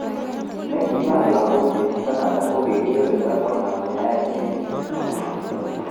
Ne kibar lagok eng Canada ko kikikirinda konem yaet eng sukul